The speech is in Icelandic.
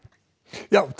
það